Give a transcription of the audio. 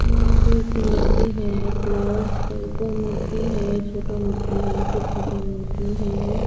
यहाँ पे एक मूर्ति है फ्लावर्स के उपर मूर्ति है छोटा मूर्ति है फिर छोटा मूर्ति है ।